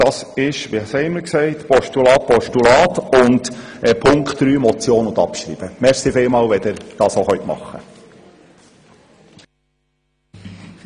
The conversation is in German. Punkte 1 und 2 als Postulat und Punkt 3 als Motion mit gleichzeitiger Abschreibung.